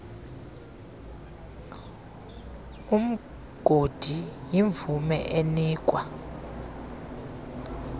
umgodi yimvume enikwa